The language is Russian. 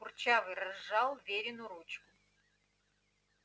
курчавый разжал верину ручку